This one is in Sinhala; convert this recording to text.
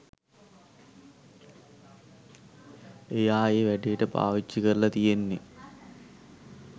එයා ඒ වැඩේට පාවිච්චිකරලා තියෙන්නේ